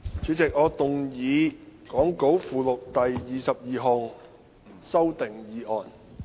主席，我動議講稿附錄的第22項修訂議案。